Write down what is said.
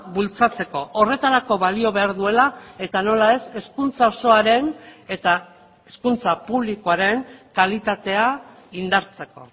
bultzatzeko horretarako balio behar duela eta nola ez hezkuntza osoaren eta hezkuntza publikoaren kalitatea indartzeko